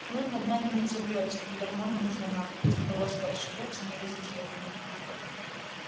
кнут над нами не взовьётся и ярмо не нужно нам пусть повозка расшибётся не возить её коням